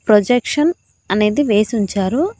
Projection అనేది వేసి ఉంచారు.